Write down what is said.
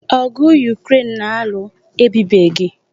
Ọgụ Yukren na-alụ ebibeghi.